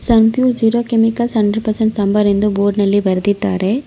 ಸನ್ pure zero chemicals hundred percent sambar ಎಂದು ಬೋರ್ಡ್ನಲ್ಲಿ ಬರೆದಿದ್ದಾರೆ.